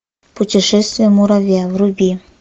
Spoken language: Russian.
путешествие муравья вруби